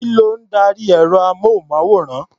Kí ló ń darí ẹ̀rọ-amóhùnmáwòrán?